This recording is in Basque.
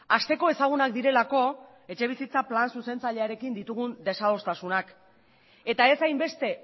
hasteko ezagunak direlako etxebizitza plan zuzentzailearekin ditugun desadostasunak eta ez hainbeste